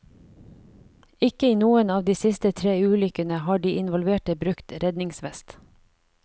Ikke i noen av de siste tre ulykkene har de involverte brukt redningsvest.